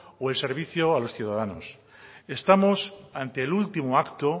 o el servicio a los ciudadanos estamos ante el último acto